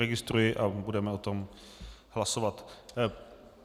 Registruji a budeme o tom hlasovat.